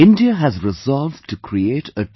India has resolved to create a T